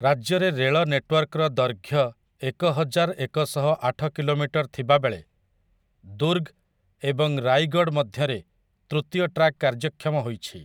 ରାଜ୍ୟରେ ରେଳ ନେଟୱାର୍କର ଦୈର୍ଘ୍ୟ ଏକହଜାର ଏକଶହଆଠ କିଲୋମିଟର୍ ଥିବାବେଳେ ଦୁର୍ଗ୍ ଏବଂ ରାଇଗଡ଼୍ ମଧ୍ୟରେ ତୃତୀୟ ଟ୍ରାକ୍ କାର୍ଯ୍ୟକ୍ଷମ ହୋଇଛି ।